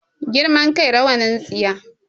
Girman kai rawanin tsiya